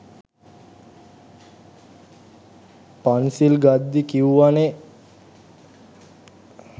පන්සිල් ගද්දි කිව්වනෙ